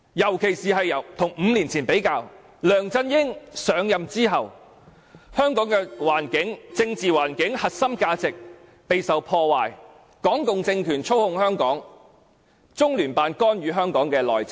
尤其是與5年前比較，梁振英上任後，香港的政治環境和核心價值備受破壞，港共政權操控香港，中聯辦干預香港內政。